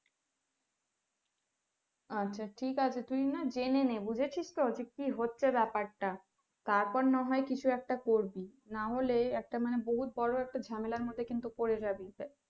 আচ্ছা ঠিক আছে তুই না জেনে নে বুঝেছিস তো যে কি হচ্ছে ব্যাপারটা তারপর না হয় কিছু একটা করবি নাহলে একটা মানে বহুত বড় একটা ঝামেলার মধ্যে কিন্তু পড়ে যাবি তাই,